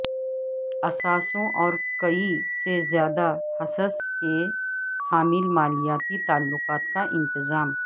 اثاثوں اور کئی سے زیادہ حصص کے حامل مالیاتی تعلقات کا انتظام